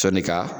Sɔni ka